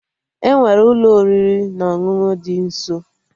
Enwere Ụlọ oriri na ọṅụṅụ dị nso